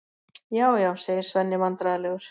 Já, já, segir Svenni vandræðalegur.